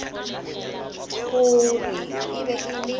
gore e be e le